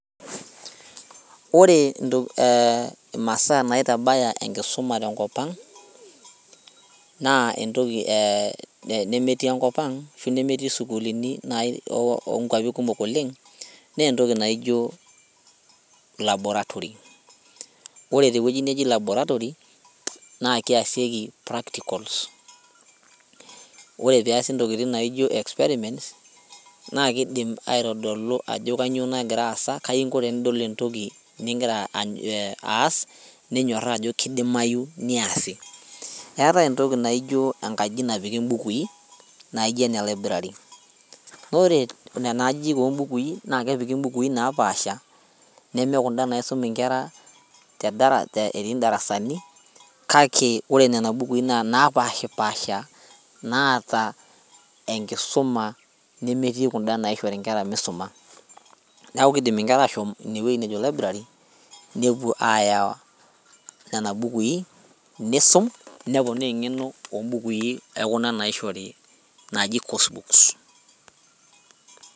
Ore intoki imasaa naitabaya enkisuma tenkop ang naa entoki eh nemetii enkop ang ashu nemetii isukulini nai onkuapi kumok oleng nentoki naijo laboratory ore tewueji neji laboratory naa keasieki practicals ore peasi intokiting naijo experiments naa kidim aitodolu ajo kanyio nagira aasa kainko tenidol entoki ningira aas ninyorraa ajo kidimayu niasi eetae entoki naijo enkaji napiki imbukui naijo ene library nore nena ajijik ombukui naa kepiki napaasha neme kunda naisum inkera tedara etii indarasani kake ore nena bukui naa napashipasha naata enkisuma nemetii kunda naishori inkera misuma niaku kidim inkera ashom inewueji nejo library nepuo aaya nena bukui nisum neponaa eng'eno ombukui ekuna naishori naaji coursebooks.